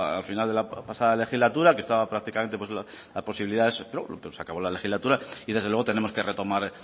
al final de la pasada legislatura que estaba prácticamente la posibilidad esa se acabó la legislatura y desde luego tenemos que retomar